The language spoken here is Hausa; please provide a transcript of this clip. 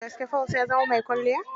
Da gaske Paul ya zama mai kwalliya?